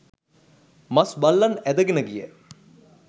මස් බල්ලන් ඇදගෙන ගිය